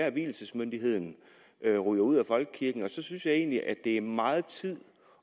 at vielsesmyndigheden ryger ud af folkekirken og så synes jeg egentlig det er meget tid